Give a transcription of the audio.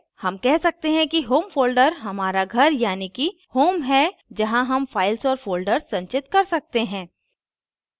home कह सकते हैं कि home folder हमारा घर यानी कि home है जहाँ home files और folders संचित कर सकते हैं